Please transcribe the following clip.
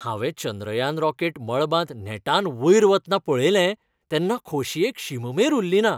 हांवें चंद्रयान रॉकेट मळबांत नेटान वयर वतना पळयलें, तेन्ना खोशयेक शीममेर उरलीना.